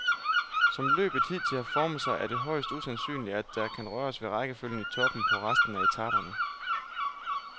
Som løbet hidtil har formet sig, er det højst usandsynligt, at der kan røres ved rækkefølge i toppen på resten af etaperne.